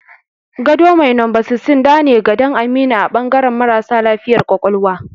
Gado mai numba 16 dane gadan Aminu a bangaran marasa lafiya ƙwaƙwalwa